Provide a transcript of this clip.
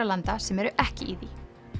landa sem eru ekki í því